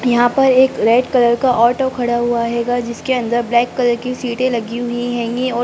यहाँ पर एक रेड कलर का ऑटो खड़ा हुआ हेंगा जिसके अंदर ब्लैक कलर की सीटे लगी हुई है और--